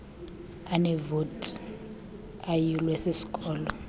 aneevoti ayulwe sisikolo